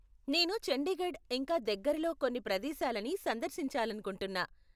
నేను చండీగఢ్ ఇంకా దగ్గరలో కొన్ని ప్రదేశాలని సందర్శించాలనుకుంటున్నా.